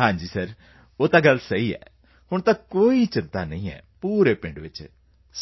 ਹਾਂ ਸਰ ਉਹ ਤਾਂ ਗੱਲ ਸਹੀ ਹੈ ਸਰ ਹੁਣ ਤਾਂ ਕੋਈ ਚਿੰਤਾ ਨਹੀਂ ਹੈ ਪੂਰੇ ਪਿੰਡ ਵਿੱਚ